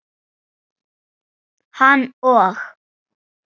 Hann og